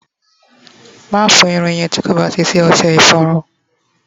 mafo irun yen ti koba ti si ose iforun!